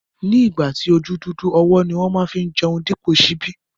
Ni ìgbà tí ojú dúdú, ọwọ́ ni wón má fi ń jẹun dípò ṣíbí